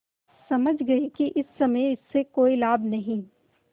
समझ गये कि इस समय इससे कोई लाभ नहीं